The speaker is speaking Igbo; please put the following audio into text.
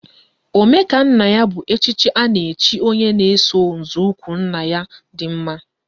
Omekannaya bụ echichi a na-echi onye na-eso nzọụkwụ nna ya dị mma.